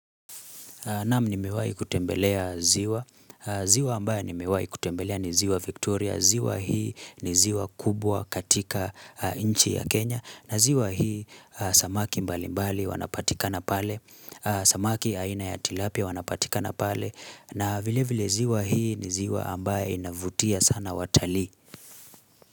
Naam nimewahi kutembelea ziwa. Ziwa ambaye nimewahi kutembelea ni ziwa Victoria. Ziwa hii ni ziwa kubwa katika nchi ya Kenya. Na ziwa hii samaki mbali mbali wanapatikana pale. Samaki aina ya tilapia wanapatikana pale. Na vile vile ziwa hii ni ziwa ambaye inavutia sana watalii.